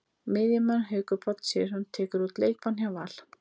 Miðjumaðurinn Haukur Páll Sigurðsson tekur út leikbann hjá Val.